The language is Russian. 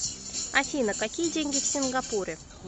афина какие деньги в сингапуре